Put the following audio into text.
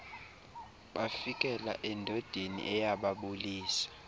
bafikela endodeni eyababulisa